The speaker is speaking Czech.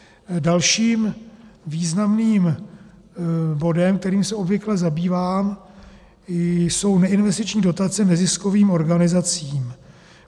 Dalším významným bodem, kterým se obvykle zabývám, jsou neinvestiční dotace neziskovým organizacím.